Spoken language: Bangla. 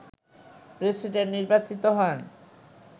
প্রেসিডেন্ট নির্বাচিত হন